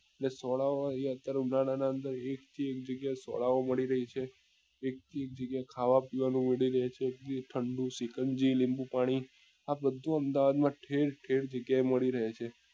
ને સોડા વાળા ની અત્યારે ઉનાળા ના અંદર એક થી એક જગ્યા એ સોડા ઓ મળી રહે છે એક થી એક જગ્યા એ ખાવા પીવા નું મળી રહે છે એ ઠંડું શીકાનજી લીંબુપાણી આ બધું અમદાવાદ માં ઠેર ઠેર જગ્યા એ મળી રહે છે